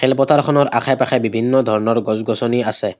খেলপথাৰ খনৰ আশে পাশে বিভিন্ন ধৰণৰ গছ গছনি আছে।